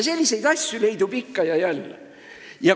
Selliseid asju leidub ikka ja jälle.